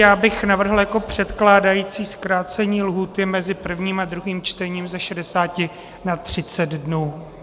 Já bych navrhl jako předkládající zkrácení lhůty mezi prvním a druhým čtením ze 60 na 30 dnů.